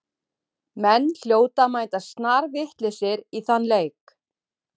Menn hljóta að mæta snarvitlausir í þann leik.